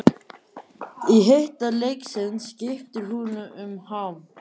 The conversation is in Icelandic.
Í hita leiksins skiptir hún um ham.